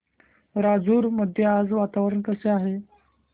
राजूर मध्ये आज वातावरण कसे आहे